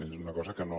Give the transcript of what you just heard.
és una cosa que no